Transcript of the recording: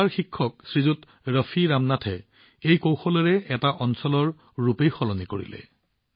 কেৰালাৰ শিক্ষক শ্ৰী ৰফি ৰামনাথে এই কৌশলেৰে এটা অঞ্চলৰ ছবি সলনি কৰিলে